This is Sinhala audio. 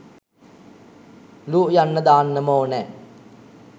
‘ලු’ යන්න දාන්නම ඕනැ.